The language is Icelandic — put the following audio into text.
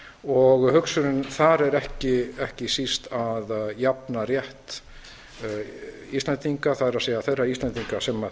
og hugsunin þar er ekki síst að jafna rétt íslendinga það er þeirra íslendinga sem